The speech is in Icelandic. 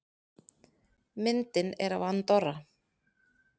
Myndin er af Andorra.